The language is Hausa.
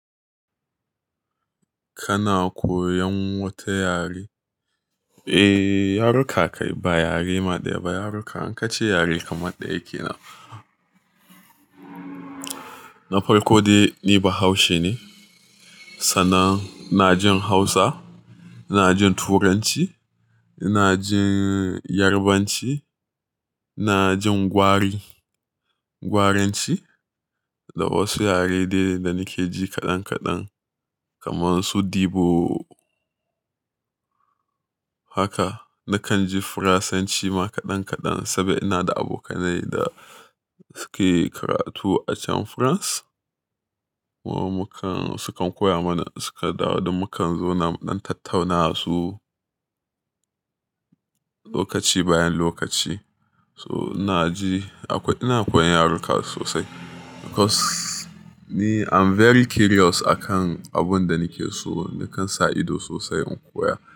Kana koyan wata yare? Eh, yaruka kai ba yare ma daya ba, yaruka. In ka ce yare kamar ɗaya kenan. Na farko dai ni Bahaushe ne sannan ina jin Hausa, ina jin Turanci, ina jin Yarbanci, ina jin Gwaranci da wasu yare dai da nake ji kaɗan kaɗan kaman su dibo. Haka, nakan ji Faransanci ma kaɗan kaɗan saboda ina da abokanai da suke karatu a can France. Ku muka-- sukan koya mana, suka dawo duk mukan zo na ɗan tattauna su lokaci bayan lokaci. So ina ji akwai-- ina koyan yaruka sosai because ni I'm very curious akan abun da nake so, nakan sa ido sosai in koya.